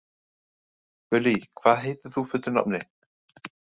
Gullý, hvað heitir þú fullu nafni?